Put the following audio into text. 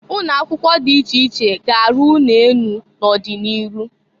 Ụnọ akwụkwọ dị iche iche ga-arụ ụnọ enụ n'ọdị n'iru.